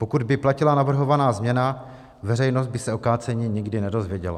Pokud by platila navrhovaná změna, veřejnost by se o kácení nikdy nedozvěděla.